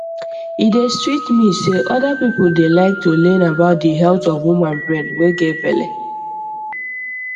e dey sweet me say other people dey like to learn about di health of woman brain way get belle